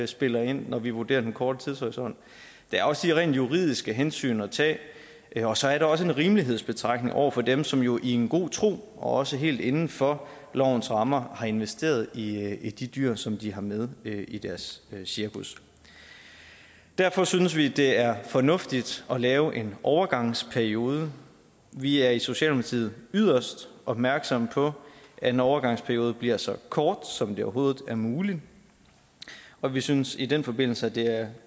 spiller ind når vi vurderer den korte tidshorisont der er også de rent juridiske hensyn at tage og så er der også en rimelighedsbetragtning over for dem som jo i en god tro og også helt inden for lovens rammer har investeret i de dyr som de har med i deres cirkus derfor synes vi det er fornuftigt at lave en overgangsperiode vi er i socialdemokratiet yderst opmærksomme på at en overgangsperiode bliver så kort som det overhovedet er muligt og vi synes i den forbindelse at det er